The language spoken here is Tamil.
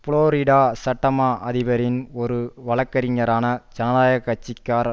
புளோரிடா சட்டமா அதிபரின் ஒரு வழக்கறிஞரான ஜனநாயக கட்சி காரர்